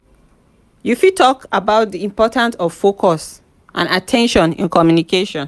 you fit talk about di importance of focus and at ten tion in communication.